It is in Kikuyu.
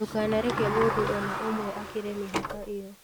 Ndũkanareke mũndũ o na ũmwe akĩrĩ mĩhka ĩyo.